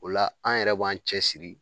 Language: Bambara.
O la an yɛrɛ b'an cɛsiri